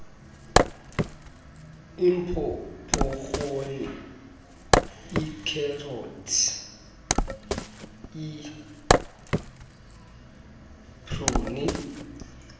iipopkhoni iikherothi iipruni